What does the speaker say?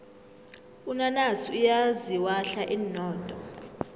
unanasi uyaziwahla inodo